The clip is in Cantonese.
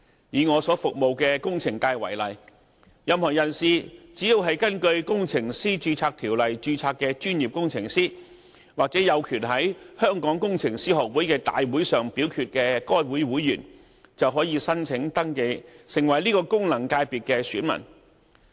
以我所服務的工程界為例，任何人士只要是根據《工程師註冊條例》註冊的專業工程師，或有權在香港工程師學會的大會上表決的該會會員，就可以申請登記成為此功能界別的選民。